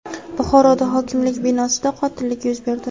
Buxoroda hokimlik binosida qotillik yuz berdi.